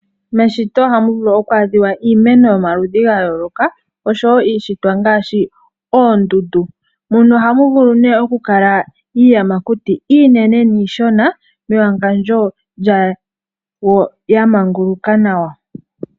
Meshito ohamu vulu oku adhiwa iimeno yomaludhi ga yooloka osho wo iishitwa ngaashi oondundu muno ohamu vulu nee oku kala iiyamakuti iinene niishona mewangandjo lyawo ya manguluka nawa.